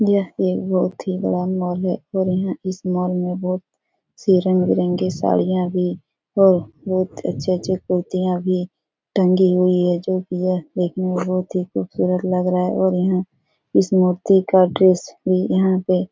यह एक बहोत ही बड़ा मॉल है और यहां इस मॉल में बहोत से रंग-बिरंगे साड़ियां भी हैं बहुत अच्छी-अच्छी कुर्तियां भी टंगी हुई है जो की देखने में बहुत ही खूबसूरत लग रहा है और यहां इस मूर्ति का ड्रेस भी यहां पे --